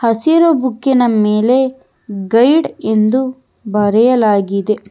ಹಸಿರು ಬುಕಿನ ಮೇಲೆ ಗೈಡ್ ಎಂದು ಬರೆಯಲಾಗಿದೆ.